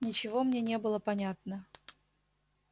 ничего мне не было понятно